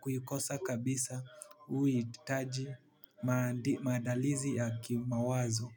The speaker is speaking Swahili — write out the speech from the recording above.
kuikosa kabisa huhitaji maandalizi ya kimawazo.